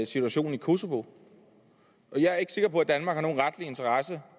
situationen i kosovo jeg er ikke sikker på at danmark har nogen retlig interesse i